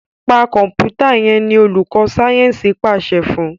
Pa Kọ̀ǹpútà yén! ní olùkó Sáyẹnsì pàṣẹ fún?